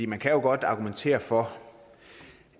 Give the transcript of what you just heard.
man kan jo godt argumentere for